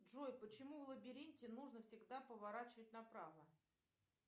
джой почему в лабиринте нужно всегда поворачивать направо